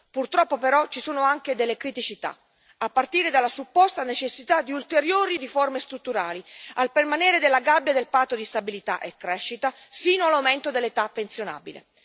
Purtroppo, però, ci sono anche delle criticità, a partire dalla supposta necessità di ulteriori riforme strutturali, al permanere della gabbia del patto di stabilità e crescita, sino all'aumento dell'età pensionabile.